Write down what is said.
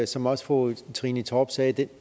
som også fru trine torp sagde at